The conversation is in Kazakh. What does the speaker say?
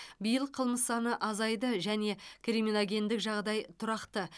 биыл қылмыс саны азайды және криминогендік жағдай тұрақты